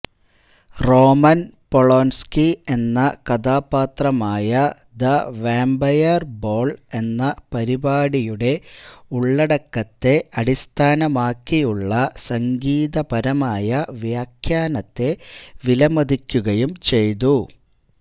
Roman Polanski എന്ന കഥാപാത്രമായ the vampire ball എന്ന പരിപാടിയുടെ ഉള്ളടക്കത്തെ അടിസ്ഥാനമാക്കിയുള്ള സംഗീതപരമായ വ്യാഖ്യാനത്തെ വിലമതിക്കുകയും ചെയ്തു